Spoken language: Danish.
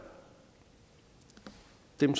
dem